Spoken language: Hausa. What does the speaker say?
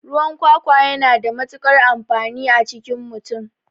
Ruwan kwakwa yana da matukar amfani a cikin mutum